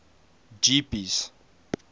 jeepies